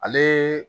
Ale